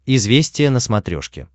известия на смотрешке